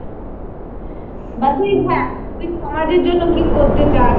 বা তুই হ্যাঁ, তুই সমাজের জন্য কি করতে চাস।